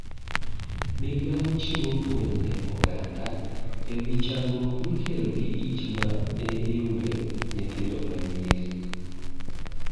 Migao chiwo puonj ne oganda ewi chandruok mikelo gi ich ma ihiune nyithindo ma nyiri.